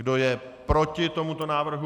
Kdo je proti tomuto návrhu?